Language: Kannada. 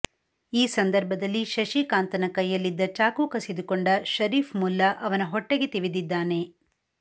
ಈ ಸಂದರ್ಭದಲ್ಲಿ ಶಶಿಕಾಂತನ ಕೈಯಲ್ಲಿದ್ದ ಚಾಕು ಕಸಿದುಕೊಂಡ ಶರೀಫ ಮುಲ್ಲಾ ಅವನ ಹೊಟ್ಟೆಗೆ ತಿವಿದಿದ್ದಾನೆ